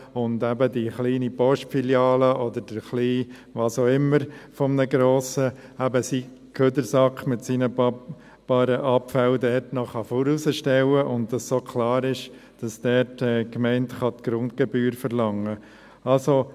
So kann die kleine Postfiliale oder der kleine Wasauch-immer, der zu einem Grossen gehört, seinen Abfallsack mit seinen paar Abfällen dort noch hinausstellen, und so ist klar, dass die Gemeinde dort die Grundgebühr verlangen kann.